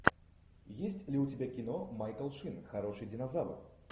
есть ли у тебя кино майкл шин хороший динозавр